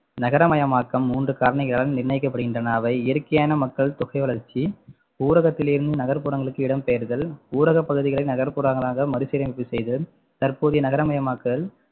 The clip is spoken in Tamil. நகரமயமாக்கம் மூன்று காரணிகளால் நிர்ணயிக்கப்படுகின்றன அவை இயற்கையான மக்கள் தொகை வளர்ச்சி, ஊரகத்திலிருந்து நகர்ப்புறங்களுக்கு இடம்பெயர்தல், ஊரக பகுதிகளை நகர்ப்புறமாக மறுசீரமைப்பு செய்தல், தற்போதைய நகரமயமாக்கல்